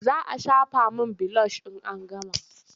Za a shafa min bilosh in an gama.